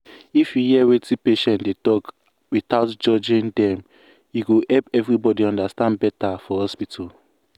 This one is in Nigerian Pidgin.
if you hear wetin patient dey talk without judging dem e go help everybody understand better for hospital.